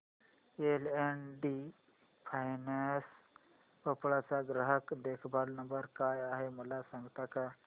L and T finance Bhopal चा ग्राहक देखभाल नंबर काय आहे मला सांगता का